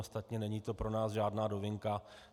Ostatně není to pro nás žádná novinka.